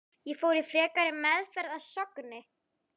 Ég fór í frekari meðferð að Sogni.